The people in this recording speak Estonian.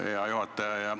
Hea juhataja!